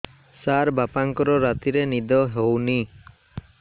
ସାର ବାପାଙ୍କର ରାତିରେ ନିଦ ହଉନି